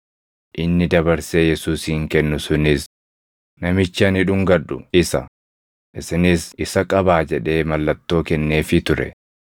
Inni dabarsee Yesuusin kennu sunis, “Namichi ani dhungadhu isa; isinis isa qabaa” jedhee mallattoo kenneefii ture.